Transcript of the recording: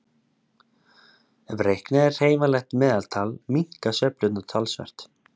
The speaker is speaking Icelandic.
Ef reiknað er hreyfanlegt meðaltal minnka sveiflurnar talsvert.